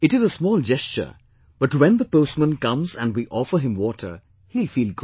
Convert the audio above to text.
It is a small gesture but when the postman comes and we offer him water, he will feel good